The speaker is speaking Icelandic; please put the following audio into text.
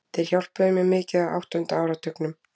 Þeir hjálpuðu mér mikið á áttunda áratugnum.